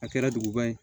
A kɛra duguba ye